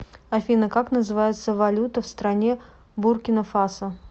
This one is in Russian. афина как называется валюта в стране буркина фасо